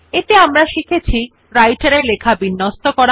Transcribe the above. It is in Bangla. এতে আমরা শিখেছি Writer এ লেখা বিন্যস্ত করা